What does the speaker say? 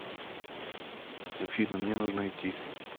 афина мне нужно идти